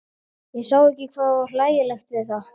Ég sá ekki hvað var hlægilegt við það.